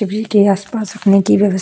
के आसपास रखने की व्यव --